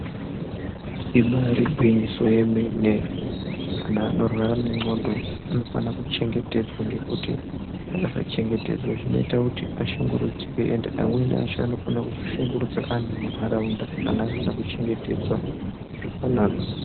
Ibari gwinyiso yemene, anhu anorwara nendxondo anofanira kuchengetedzwa ngekuti akasachengetedzwa zvinoita kuti ashungurudzike endi amweni acho anokona kuzoshungurudza anhu munharaunda kana asina kuchengetedzwa zvakanaka.